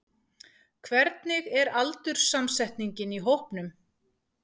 Hvernig er aldurssamsetningin í hópnum?